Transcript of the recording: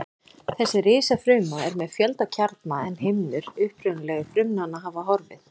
Þessi risafruma er með fjölda kjarna en himnur upprunalegu frumnanna hafa horfið.